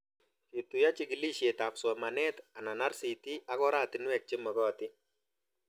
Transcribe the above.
Ketuyo chikilishet ab somanet anan RCT ak oratinwek che magatin